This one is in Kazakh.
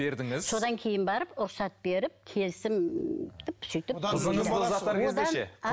содан кейін барып рұқсат беріп келісім